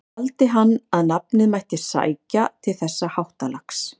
Taldi hann að nafnið mætti sækja til þessa háttalags.